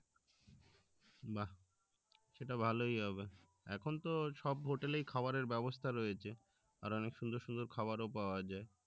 বাহ্ সেটা ভালোই হবে এখন তো সব hotel এই খাবারের ব্যবস্থা রয়েছে আর অনেক সুন্দর সুন্দর খাওয়ার ও পাওয়া যায়